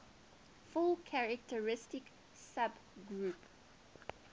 fully characteristic subgroup